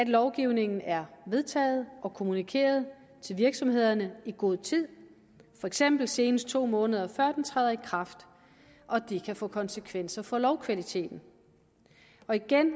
lovgivningen er vedtaget og kommunikeret til virksomhederne i god tid for eksempel senest to måneder før den træder i kraft og det kan få konsekvenser for lovkvaliteten igen